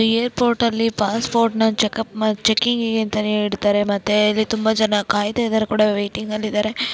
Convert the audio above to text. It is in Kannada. ಏರ್ಪೋರ್ಟಲ್ಲಿ ಪಾಸ್ಪೋರ್ಟ್ ನ ಚೆಕ್ಪ್ ಚೆಕ್ಕಿಂಗ್ ಅಂತಾನೆ ಇರತಾರೆ ಮತ್ತೆ ಇಲ್ಲಿ ತುಂಬಾ ಜನ ಕಾಯಿತಾ ಇದಾರೆ ಕೂಡ ವೇಟಇಂಗಲಿ ಇದಾರೆ.